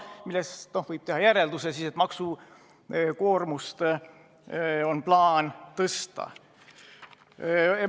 Sellest võib teha järelduse, et on plaan maksukoormust suurendada.